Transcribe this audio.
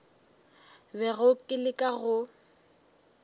bego ke le ka go